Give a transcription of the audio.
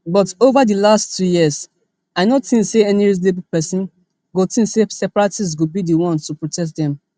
but ova di last two years i no tink say any reasonable pesin go tink say separatists go be di ones to protect them